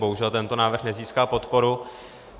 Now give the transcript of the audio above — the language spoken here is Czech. Bohužel tento návrh nezískal podporu.